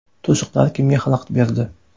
To‘siqlar kimga xalaqit berdi?